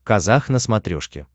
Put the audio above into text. казах на смотрешке